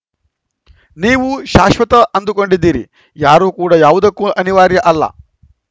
ನೀವು ಶಾಶ್ವತ ಅಂದುಕೊಂಡಿದ್ದೀರಿ ಯಾರು ಕೂಡ ಯಾವುದಕ್ಕೂ ಅನಿವಾರ್ಯ ಅಲ್ಲ